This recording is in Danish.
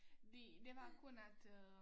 De det var kun at øh